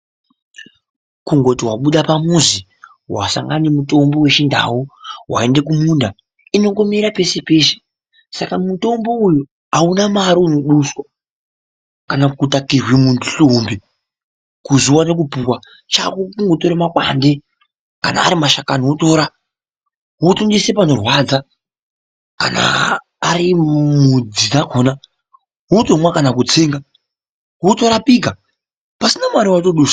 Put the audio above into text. Kungoti wabude pamuzi wasangana nemitombo wechindau, waende kumunda inongomera peshe peshe . Saka mutombo uyu auna mare inoduswa kana kutakire muntu hlombe kuzwi uone kupuwa . Chako kunotore makwande kana ari mashakani wotongoise panorwadza kana ari mudzi wakhona wotomwa kana kutsenga wotorapika pasina mare yawadusa.